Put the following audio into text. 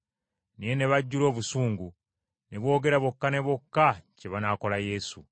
Naye ne bajjula obusungu, ne boogera bokka ne bokka kye banaakola Yesu.